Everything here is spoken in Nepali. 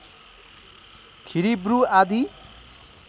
खिरिब्रु आदि